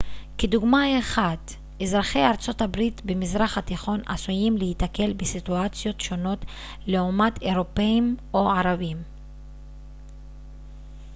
כדוגמה אחת אזרחי ארצות הברית במזרח התיכון עשויים להיתקל בסיטואציות שונות לעומת אירופים או ערבים